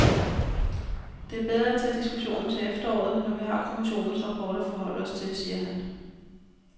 Det er bedre at tage diskussionen til efteråret, når vi har kommissionens rapport at forholde os til, siger han.